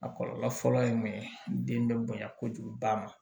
A kɔlɔlɔ fɔlɔ ye mun ye den bɛ bonya kojugu ba ma